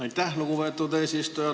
Aitäh, lugupeetud eesistuja!